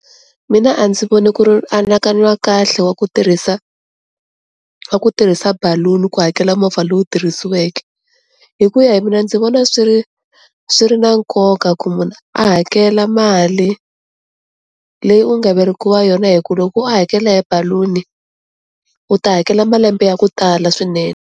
Mina a ndzi voni ku ri anakanyo wa kahle wa ku tirhisa wa ku tirhisa balloon-i ku hakela movha lowu tirhisiweke, hi ku ya hi mina ndzi vona swi ri swi ri na nkoka ku munhu a hakela mali leyi u nga verekiwa yona hi ku loko wo hakela hi balloon-i u ta hakela malembe ya ku tala swinene.